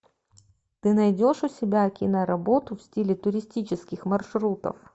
ты найдешь у себя киноработу в стиле туристических маршрутов